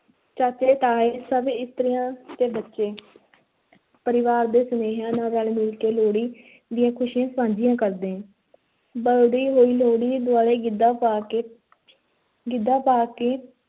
ਚਾਚੇ, ਤਾਏ ਸਭ ਇਸਤਰੀਆਂ ਤੇ ਬੱਚੇ ਪਰਿਵਾਰ ਦੇ ਸਨੇਹੀਆਂ ਨਾਲ ਰਲ-ਮਿਲ ਕੇ ਲੋਹੜੀ ਦੀਆਂ ਖ਼ੁਸ਼ੀਆਂ ਸਾਂਝੀਆਂ ਕਰਦੇ ਬਲਦੀ ਹੋਈ ਲੋਹੜੀ ਦੁਆਲੇ ਗਿੱਧਾ ਪਾ ਕੇ ਗਿੱਧਾ ਪਾ ਕੇ